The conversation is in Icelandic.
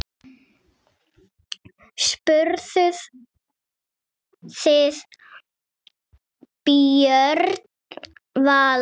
Spurðuð þið Björn Val?